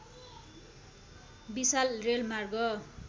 विशाल रेलमार्ग